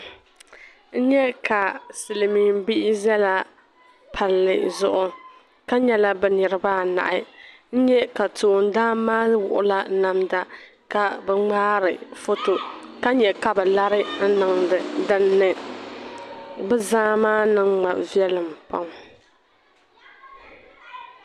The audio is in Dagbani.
N nya ka silimiim bihi zala palli zuɣu ka nyɛla bɛ niriba anahi. N nya ka toondana maa wuɣila namda ka bɛ ŋmaari foto ka nya ka bɛ lara n-niŋdi dinni. Bɛ zaa maa niŋ ma viɛlim pam.